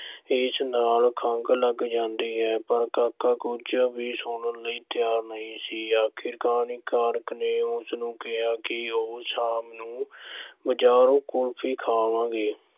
ਇਸ ਨਾਲ ਖੰਘ ਲੱਗ ਜਾਂਦੀ ਹੈ, ਪਰ ਕਾਕਾ ਕੁਝ ਵੀ ਸੁਣਨ ਲਈ ਤਿਆਰ ਨਹੀਂ ਸੀ, ਅਖੀਰ ਕਹਾਣੀਕਾਰ ਨੇ ਉਸ ਨੂੰ ਕਿਹਾ ਕਿ ਉਹ ਸ਼ਾਮ ਨੂੰ ਬਜ਼ਾਰੋਂ ਕੁਲਫ਼ੀ ਖਾਵਾਂਗੇ।